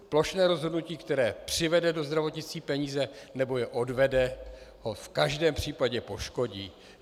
Plošné rozhodnutí, které přivede do zdravotnictví peníze, nebo je odvede, ho v každém případě poškodí.